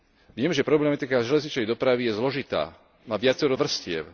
Viem, že problematika železničnej dopravy je zložitá, má viacero vrstiev.